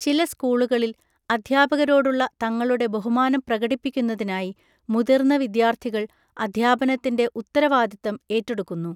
ചില സ്‌കൂളുകളിൽ, അധ്യാപകരോടുള്ള തങ്ങളുടെ ബഹുമാനം പ്രകടിപ്പിക്കുന്നതിനായി മുതിർന്ന വിദ്യാർത്ഥികൾ അധ്യാപനത്തിൻ്റെ ഉത്തരവാദിത്തം ഏറ്റെടുക്കുന്നു.